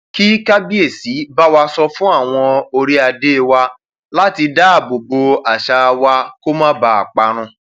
kí kábíẹsì bá wa sọ fún àwọn oríadé wa láti dáàbò bo àṣà wa kó má bàa parun